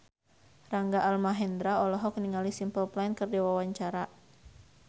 Rangga Almahendra olohok ningali Simple Plan keur diwawancara